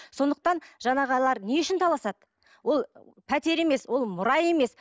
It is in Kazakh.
сондықтан жаңағылар не үшін таласады ол пәтер емес ол мұра емес